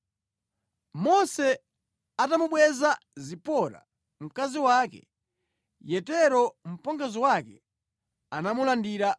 Mose atamubweza Zipora, mkazi wake, Yetero, mpongozi wake anamulandira